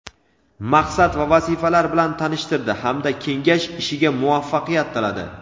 maqsad va vazifalar bilan tanishtirdi hamda kengash ishiga muvaffaqiyat tiladi.